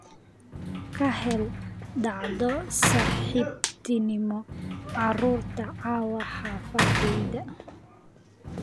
ka hel dhacdo saaxiibtinimo carruurta caawa xaafaddayda